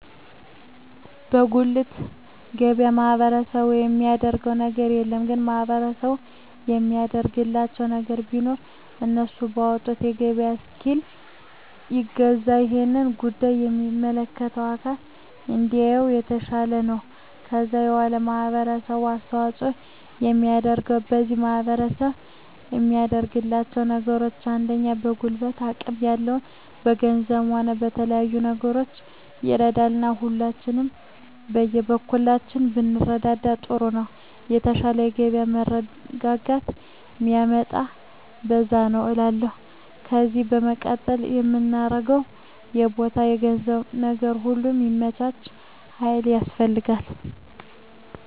በጉልት ገበያ ማህበረሰቡ የሚያደረገው ነገር የለም ግን ማህበረሰቡ የሚያደርግላቸው ነገር ቢኖር እነሱ ባወጡት የገበያ እስኪል ይገዛል እሄን ጉዳይ የሚመለከተው አካል እንዲያየው የተሻለ ነው ከዛ በዋላ ማህበረሰቡ አስተዋጽኦ የሚያደርገው ከዚህ ማህረሰብ የሚያደርጋቸው ነገሮች አንደኛ በጉልበት አቅም ያለው በገንዘቡም ሆነ በተለያዩ ነገሮች ይረዳል እና ሁላችንም የበኩላችንን ብንረዳዳ ጥሩ ነው የተሻለ የገበያ መረጋጋት ሚመጣው በዛ ነዉ እላለሁ ከዜ በመቀጠል ምናገረው የቦታ የገንዘብ ነገር ሁሉ ሚመቻች ሀይል ያስፈልጋል